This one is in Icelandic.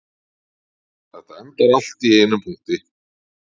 Þetta endar allt í einum punkti